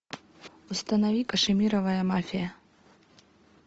установи кашемировая мафия